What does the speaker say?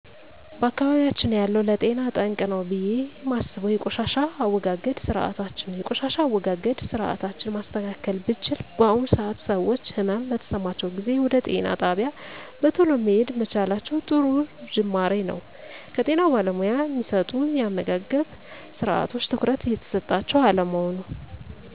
በአካባቢያችን ያለው ለጤና ጠንቅ ነው ብየ እማስበው የቆሻሻ አወጋገድ ስርአታችን ነው የቆሻሻ አወጋገድ ስርአታችን ማስተካከል ብችል በአሁኑ ሰአት ሰወች ህመም በተሰማቸው ጊዜ ወደ ጤና ጣቢያ በተሎ መሄድ መቻላቸው ጥሩ ጁማሮ ነው ከጤና ባለሙያ እሚሰጡ የአመጋገብስርአቶች ትኩረት እየተሰጣቸው አለመሆኑ